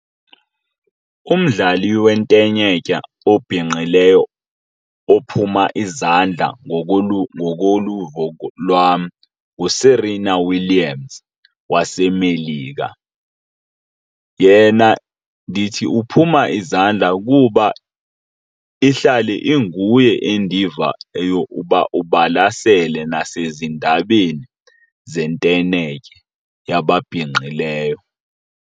Umdlali wentenetya obhinqileyo ophuma izandla ngokoluvo lwam nguSerena Williams waseMelika. Yena ndithi uphuma izandla kuba ihlale inguye endiva eyokuba ubalasele nasezindabeni zentenetya yababhinqileyo.